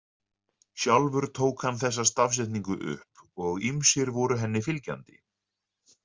Sjálfur tók hann þessa stafsetningu upp og ýmsir voru henni fylgjandi.